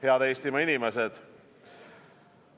Head Eestimaa inimesed!